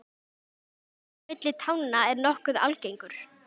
Myglusveppur á milli tánna er nokkuð algengur.